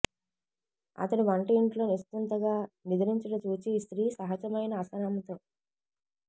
అతడు వంట యింటిలో నిశ్చింతగా నిదురించుట చూచి స్త్రీ సహజమైన అసహనంతో